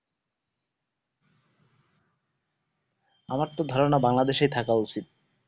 আমার ত ধারনা বাংলাদেশ এ থাকা উচিত